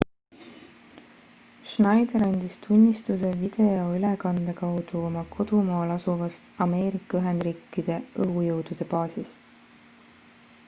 schneider andis tunnistuse videülekande kaudu oma kodumaal asuvast ameerika ühendriikide õhujõudude baasist